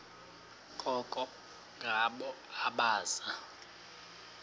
koko ngabo abaza